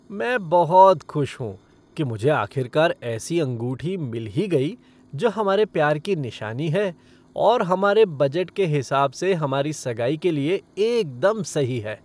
मैं बहुत खुश हूँ कि मुझे आखिरकार ऐसी अंगूठी मिल ही गई जो हमारे प्यार की निशानी है और हमारे बजट के हिसाब से हमारी सगाई के लिए एकदम सही है।